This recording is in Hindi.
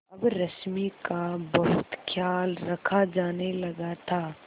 अब रश्मि का बहुत ख्याल रखा जाने लगा था